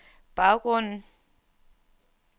baggrunden